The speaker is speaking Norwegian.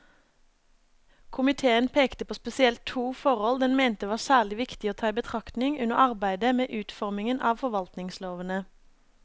Komiteen pekte på spesielt to forhold den mente var særlig viktig å ta i betraktning under arbeidet med utformingen av forvaltningslovene.